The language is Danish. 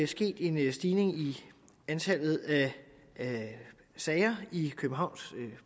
sket en stigning i antallet af sager i københavns